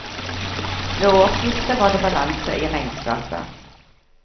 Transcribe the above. Ved årsskiftet var det balanse i regnskapet.